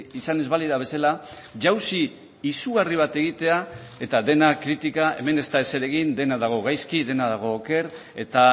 izan ez balira bezala jausi izugarri bat egitea eta dena kritika hemen ez da ezer egin dena dago gaizki dena dago oker eta